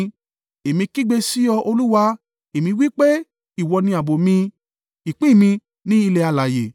Èmi kígbe sí ọ, Olúwa: èmi wí pé, “Ìwọ ni ààbò mi, ìpín mi ní ilẹ̀ alààyè.”